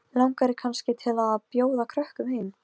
Alisa, er bolti á fimmtudaginn?